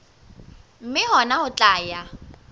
mme hona ho tla ya